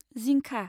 जिंखा